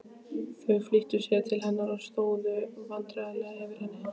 Þau flýttu sér til hennar og stóðu vandræðaleg yfir henni.